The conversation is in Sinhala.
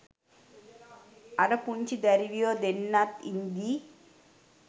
අර පුංචි දැරිවියො දෙන්නත් ඉද්දි